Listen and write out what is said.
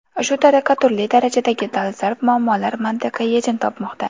Shu tariqa turli darajadagi dolzarb muammolar mantiqiy yechim topmoqda.